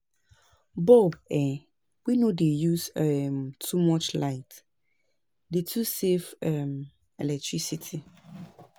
Bulb um wey no dey use um too much light dey to save um electricity